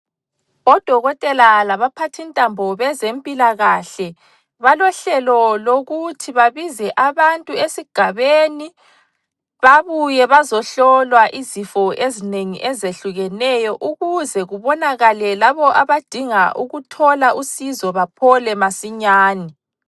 Odokotela labaphathintambo bezempilakahle balohlelo lokuthi babize abantu esigabeni babuye bazohlolwa izifo ezinengi ezehlukeneyo ukuze kubonakale labo abadinga ukuthola usizo baphole masinyane.